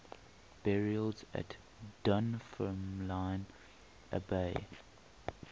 burials at dunfermline abbey